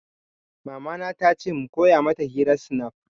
Mama na ta ce mu koya mata hirar snap